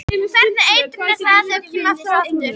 Hvernig eitrun er það sem kemur aftur og aftur?